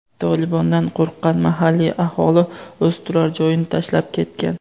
"Tolibon"dan qo‘rqqan mahalliy aholi o‘z turar-joyini tashlab ketgan.